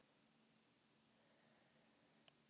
Hefur þetta verið að gerast núna í vetur?